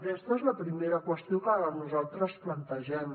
aquesta és la primera qüestió que nosaltres plantegem